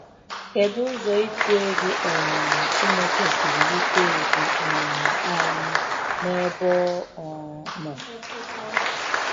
Kedụ ụzọ itu egwu um Chineke siri yite ùgwù um anyị n'ebe ọ um nọ?